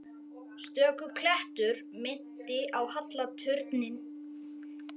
Stöku klettur minnti á halla turninn í Písa.